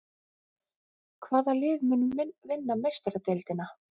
Hvaða lið mun vinna Meistaradeildina?